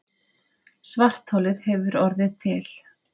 Svartholið hefur orðið til.